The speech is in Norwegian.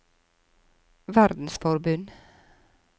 verdensforbund